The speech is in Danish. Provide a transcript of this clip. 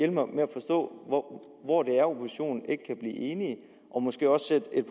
mig med at forstå hvor det er oppositionen ikke kan blive enige og måske også sætte et